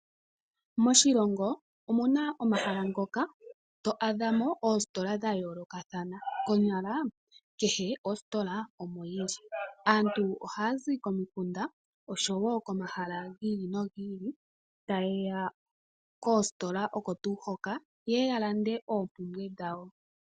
Moshilongo omuna omahala ngoka to adhamo oostola dha yoolokathana, konyala kehe ostola omo yili. Aantu ohaya zi komikunda osho woo komahala giili nogiili taye ya koostola oko tuu hoka, yeye ya lande oompumbwe dhawo.